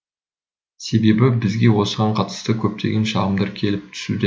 себебі бізге осыған қатысты көптеген шағымдар келіп түсуде